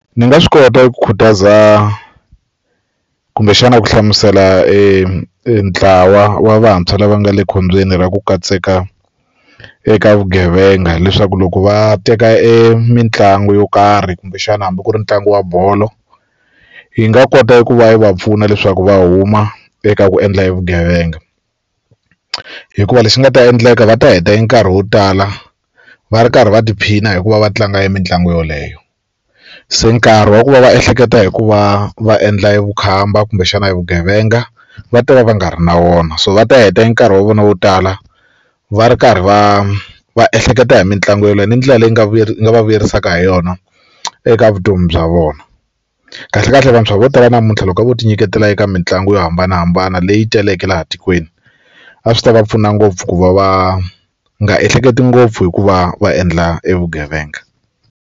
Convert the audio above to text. Ndzi nga swi kota ku khutaza kumbexana ku hlamusela e ntlawa wa vantshwa lava nga le khombyeni ra ku katseka eka vugevenga hileswaku loko va teka e mitlangu yo karhi kumbexana hambi ku ri ntlangu wa bolo yi nga kota ku va yi va pfuna leswaku va huma eka ku endla vugevenga hikuva lexi nga ta endleka va ta heta e nkarhi wo tala va ri karhi va tiphina hi ku va va tlanga e mitlangu yoleyo se nkarhi wa ku va va ehleketa hi ku va va endla vukhamba kumbexana evugevenga va ta va va nga ri na wona so va ta heta e nkarhi wa vona wo tala va ri karhi va va ehleketa hi mitlangu yeleyo ni ndlela leyi nga va vuyerisaka hi yona eka vutomi bya vona kahlekahle vantshwa vo tala namuntlha loko a vo ti nyiketela eka mitlangu yo hambanahambana leyi teleke laha tikweni a swi ta va pfuna ngopfu ku va va nga ehleketi ngopfu hikuva va endla evugevenga.